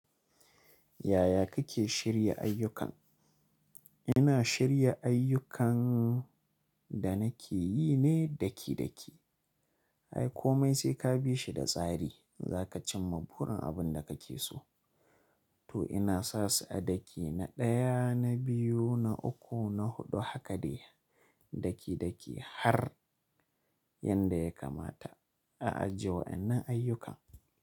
Yaya kake shirya ayyuka? Ina shirya ayyukan da nake yi ne daki daki. Ai komai sai ka bi shi da tsari, za ka cimma burin abin da kake so. To ina sa su a daki na ɗaya, na biyu, na uku, na huɗu haka dai daki daki har yanda ya kamata a ajiye waɗannan ayyukan.